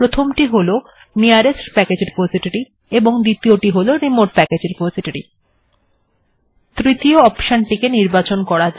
প্রথমটি হল নিকটতম প্যাকেজ্ রেপোসিটোরি টি সিলেক্ট বা নির্বাচন করা এবং অপরটির হল রিমোট বা দূরবর্তী রেপোসিটোরি এর নির্বাচন করা